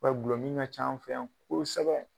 gulɔ min ka ca an fɛ yan kosɛbɛ